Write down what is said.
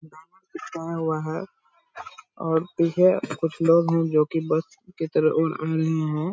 और पीछे कुछ लोग है जो की बस के तरफ --